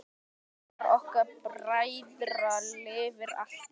Minning ykkar bræðra lifir alltaf!